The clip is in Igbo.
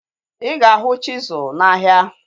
Ịga ahu chisụl na ahia